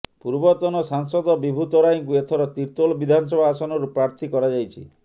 ପୂର୍ବତନ ସାଂସଦ ବିଭୁ ତରାଇକୁ ଏଥର ତିର୍ତ୍ତୋଲ ବିଧାନସଭା ଆସନରୁ ପ୍ରାର୍ଥୀ କରାଯାଇଛି